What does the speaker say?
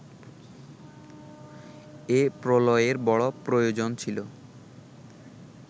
এ প্রলয়ের বড় প্রয়োজন ছিল